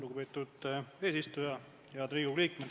Head Riigikogu liikmed!